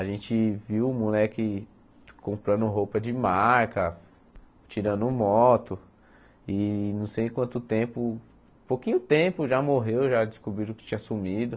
A gente viu o moleque comprando roupa de marca, tirando moto, e não sei em quanto tempo, pouquinho tempo já morreu, já descobriram que tinha sumido.